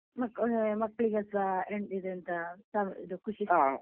ಮಕ್ಳಿಗೆಸ ಇದೆಂತ ಇದು ಖುಷಿ ಸಿಗ್ತದಲ್ಲ.